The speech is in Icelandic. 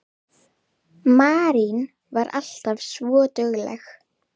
Marín var alltaf svo dugleg.